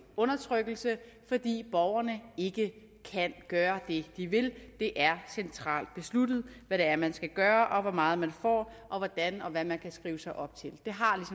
undertrykkelse fordi borgerne ikke kan gøre det de vil det er centralt besluttet hvad det er man skal gøre hvor meget man får og hvordan og hvad man kan skrive sig op til det har